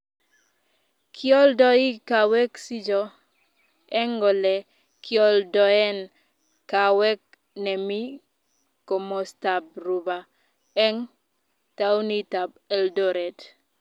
kioldoi kaawekcjo eng ole kioldoen kaawek nemi komostab Rupa eng taunitab Eldoret